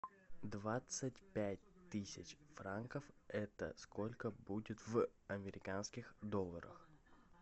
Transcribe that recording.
двадцать пять тысяч франков это сколько будет в американских долларах